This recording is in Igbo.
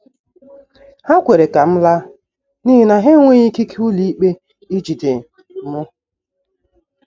Ha kwere ka m laa n’ihi na ha enweghị ikike ụlọikpe ijide m.